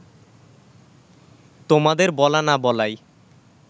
তোমাদের বলা না বলায়